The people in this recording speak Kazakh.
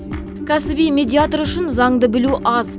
кәсіби медиатор үшін заңды білу аз